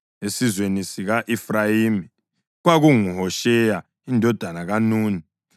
esizweni sika-Efrayimi, kwakunguHosheya indodana kaNuni;